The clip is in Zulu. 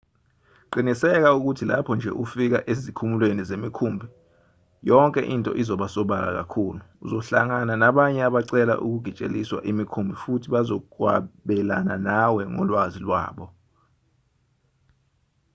qiniseka ukuthi lapho nje ufika ezikhumulweni zemikhumbi yonke into izoba sobala kakhulu uzohlangana nabanye abacela ukugitsheliswa emikhumbini futhi bazokwabelana nawe ngolwazi lwabo